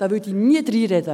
Da würde ich reinreden.